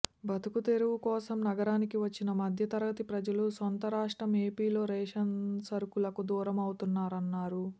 బతుకుదెరువు కోసం నగరానికి వచ్చిన మధ్యతరగతి ప్రజలు సొంత రాష్ట్రం ఏపీలో రేషన్ సరుకులకు దూరం అవుతున్నారన్నారు